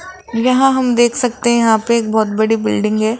यहां हम देख सकते हैं यहां पे एक बहोत बड़ी बिल्डिंग है।